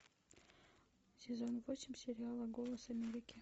сезон восемь сериала голос америки